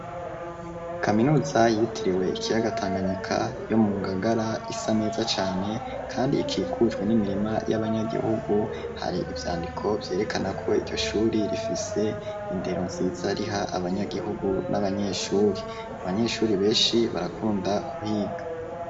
Kaminuza yitiriwe ikiyaga tanganyika yo mu ngagara isa neza cane kandi ikikujwe n'imirima y'abanyagihugu, hari ivyandiko vyerekanako iryo shure rifise indero nziza riha abanyagihugu n'abanyeshure, abanyesure benshi barakunda kuhiga.